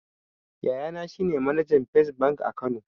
Yayana shine manajan fes bank a kano